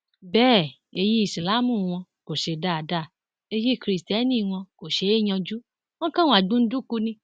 bẹẹ èyí ìsáláàmù wọn kò ṣe é dáadáa èyí kristẹni wọn kò ṣe é yanjú wọn kan wà gbunduku ni